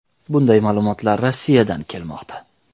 Bunday ma’lumotlar Rossiyadan kelmoqda.